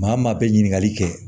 Maa o maa bɛ ɲininkali kɛ